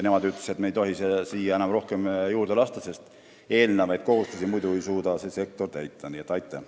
Nemad ütlevad, et me ei tohi siia rohkem kedagi juurde lasta, sest muidu ei suuda sektor varasemaid kohustusi täita.